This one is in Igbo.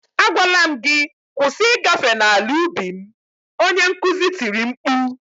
Agwala m gị "kwụsị ịgafe n'ala ubi m" onye nkuzi tiri mkpu